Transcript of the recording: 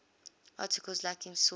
articles lacking sources